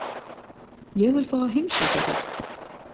Ég vil fá að heimsækja þig.